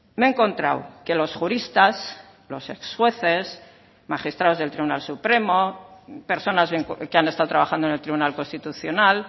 me he encontrado que los juristas los ex jueces magistrados del tribunal supremo personas que han estado trabajando en el tribunal constitucional